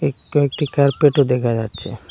কয়েকটি কার্পেট -ও দেকা যাচ্চে।